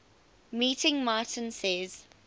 meeting martin says